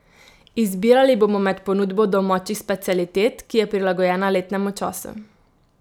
Izbirali bomo med ponudbo domačih specialitet, ki je prilagojena letnemu času.